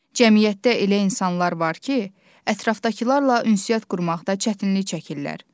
Cəmiyyətdə elə insanlar var ki, ətrafdakılarla ünsiyyət qurmaqda çətinlik çəkirlər.